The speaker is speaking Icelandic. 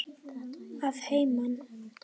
Að heiman?